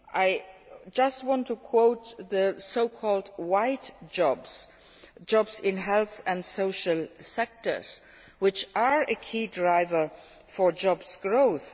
market economy. I just want to refer to the so called white jobs jobs in the health and social sectors which are a key driver for